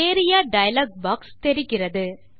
area dialog box தெரிகிறது